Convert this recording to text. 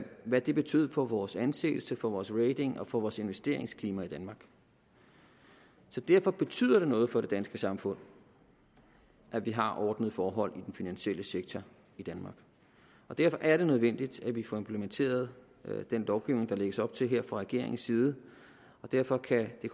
hvad det betød for vores anseelse for vores rating og for vores investeringsklima i danmark så derfor betyder det noget for det danske samfund at vi har ordnede forhold i den finansielle sektor i danmark derfor er det nødvendigt at vi får implementeret den lovgivning der her lægges op til fra regeringens side og derfor kan det